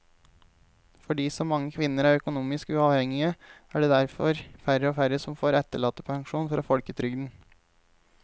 Fordi så mange kvinner er økonomisk uavhengige er det derfor færre og færre som får etterlattepensjon fra folketrygden.